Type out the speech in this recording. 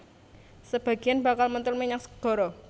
Sabagéyan bakal mentul menyang segara